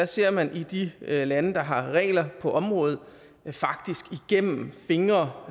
ser man i de lande der har regler på området faktisk igennem fingre